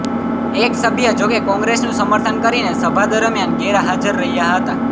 એક સભ્ય જોકે કોંગ્રેસનું સમર્થન કરીને સભા દરમ્યાન ગેરહાજર રહ્યા હતા